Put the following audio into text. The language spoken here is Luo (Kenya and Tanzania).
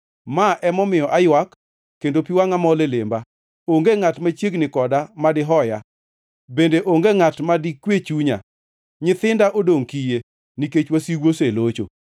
“Ma emomiyo aywak kendo pi wangʼa mol e lemba. Onge ngʼat machiegni koda ma dihoya, bende onge ngʼat ma dikwe chunya. Nyithinda odongʼ kiye nikech wasigu oselocho.”